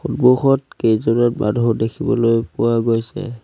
হঁমুখত কেইজন মানুহ দেখিবলৈ পোৱা গৈছে।